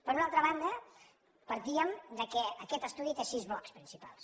per una altra banda partíem del fet que aquest estudi té sis blocs principals